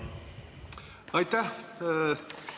Aitäh!